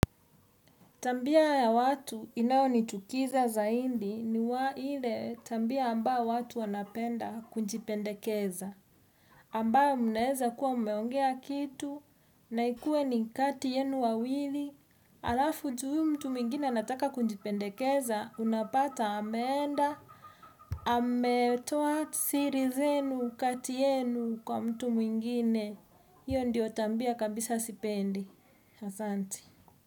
Tabia ya watu inayo ni chukiza zaidi ni ile tabia ambayo watu wanapenda kujipendekeza. Ambaye mnaweza kuwa mumeongea kitu na ikue ni kati yenu wawili. Alafu juu huyu mtu mwingine anataka kujipendekeza unapata ameenda ametoa siri zenu kati yenu kwa mtu mwingine. Hiyo ndio tabia kabisa sipendi. Asanti.